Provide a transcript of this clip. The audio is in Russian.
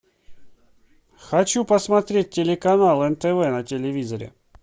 хочу посмотреть телеканал нтв на телевизоре